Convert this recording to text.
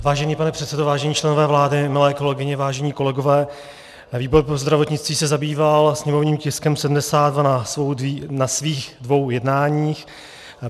Vážený pane předsedo, vážení členové vlády, milé kolegyně, vážení kolegové, výbor pro zdravotnictví se zabýval sněmovním tiskem 72 na svých dvou jednáních.